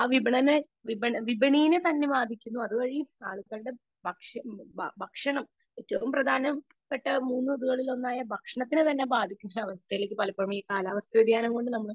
Speaker 2 വിപണന വിപണിയെത്തന്നെ ബാധിക്കുന്നു . അതുവഴി ആളുകളുടെ ഭക്ഷണം ഏറ്റവും പ്രധാനപ്പെട്ട മൂന്നു ഇത്കളിൽ ഒന്നായ ഭക്ഷണത്തെ തന്നെ ബാധിക്കുന്നഅവസ്ഥയിലേക്ക് ഈ കാലാവസ്ഥ വ്യതിയാനം കൊണ്ട്